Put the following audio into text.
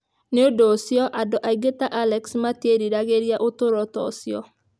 Nĩ ũndũ ũcio, andũ aingĩ ta Alex matiĩriragĩria ũtũũro ta ũcio.